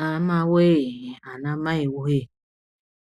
Hamawee anamaiwee